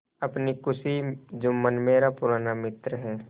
अपनी खुशी जुम्मन मेरा पुराना मित्र है